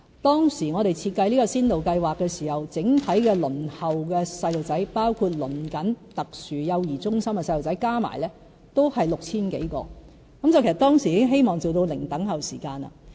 當時我們設計這項先導計劃時，整體輪候的小朋友，包括正在輪候特殊幼兒中心的小朋友，加起來都是 6,000 多人，其實當時已希望做到"零輪候"時間。